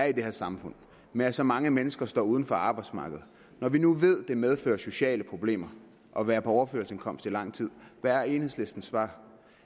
i det her samfund med at så mange mennesker står uden for arbejdsmarkedet når vi nu ved at det medfører sociale problemer at være på overførselsindkomst i lang tid hvad er enhedslistens svar